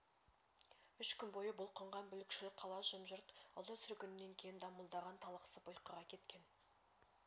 үш күн бойы бұлқынған бүлікшіл қала жым-жырт ұлы сүргіннен кейін дамылдаған талықсып ұйқыға кеткен